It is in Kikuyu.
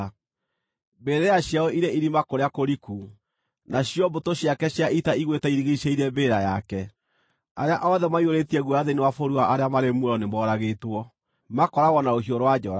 Mbĩrĩra ciao irĩ irima kũrĩa kũriku, nacio mbũtũ ciake cia ita igũĩte irigiicĩirie mbĩrĩra yake. Arĩa othe maiyũrĩtie guoya thĩinĩ wa bũrũri wa arĩa marĩ muoyo nĩmoragĩtwo, makooragwo na rũhiũ rwa njora.